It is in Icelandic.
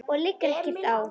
Og það liggur ekkert á.